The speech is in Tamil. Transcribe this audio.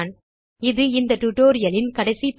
இது இந்த டியூட்டோரியல் இன் கடைசி பகுதி